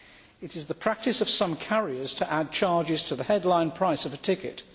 It is the practice of some carriers to add charges to the headline price of a ticket.